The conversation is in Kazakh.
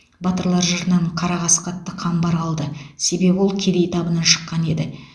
батырлар жырынан қара қасқа атты қамбар қалды себебі ол кедей табынан шыққан еді